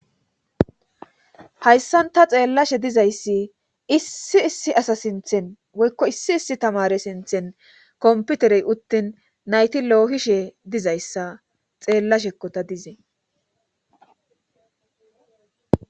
hayssan ta xeellashe dizayssi issi issi asa sinthen woykko issi issi tamare sinthen komputerey uttin nayti loohishe dizayssa xeellashekkota dizee